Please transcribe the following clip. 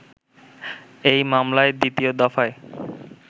এই মামলায় দ্বিতীয় দফায়